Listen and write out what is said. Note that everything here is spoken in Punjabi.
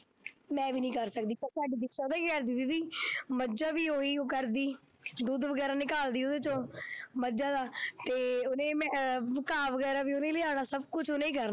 ਮੈਂ ਵੀ ਨੀ ਕਰ ਸਕਦੀ ਪਰ ਸਾਡੀ ਦਿਕਸ਼ਾ ਪਤਾ ਕੀ ਕਰਦੀ ਦੀਦੀ ਮੱਝਾਂ ਵੀ ਉਹੀ ਕਰਦੀ ਦੁੱਧ ਵਗ਼ੈਰਾ ਨਿਕਾਲਦੀ ਉਹਦੇ ਚੋਂ ਮੱਝਾਂ ਦਾ ਤੇ ਉਹਨੇ ਅਹ ਘਾਹ ਵਗ਼ੈਰਾ ਵੀ ਉਹਨੇ ਲਿਆਉਣਾ, ਸਭ ਕੁਛ ਉਹਨੇ ਹੀ ਕਰ